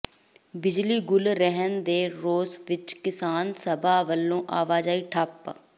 ਬਿਜਲੀ ਗੁੱਲ ਰਹਿਣ ਦੇ ਰੋਸ ਵਿਚ ਕਿਸਾਨ ਸਭਾ ਵੱਲੋਂ ਆਵਾਜਾਈ ਠੱਪ